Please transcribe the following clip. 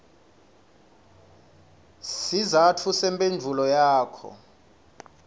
sizatfu semphendvulo yakho